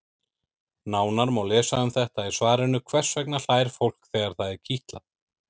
Nánar má lesa um þetta í svarinu Hvers vegna hlær fólk þegar það er kitlað?